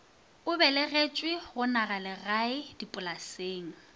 o belegetšwe go nagalegae dipolaseng